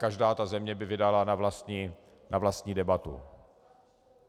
Každá ta země by vydala na vlastní debatu.